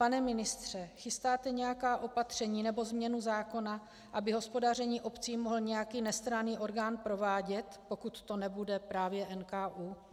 Pane ministře, chystáte nějaká opatření nebo změnu zákona, aby hospodaření obcí mohl nějaký nestranný orgán provádět, pokud to nebude právě NKÚ?